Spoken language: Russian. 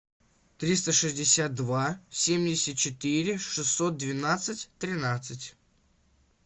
триста шестьдесят два семьдесят четыре шестьсот двенадцать тринадцать